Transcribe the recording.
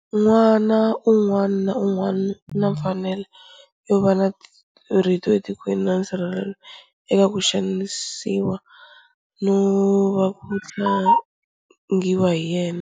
N'wana un'wana na un'wana u na mfanelo yo va na rito etikweni na nsirhelelo eka ku xanisiwa no va ku tlangiwa hi yena.